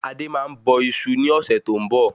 Adé máa ń bọ isu ní ọ̀sẹ̀ tó ń bọ̀